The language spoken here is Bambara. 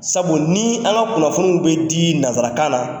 Sabu ni an ka kunnafoniw bɛ di nasarakan na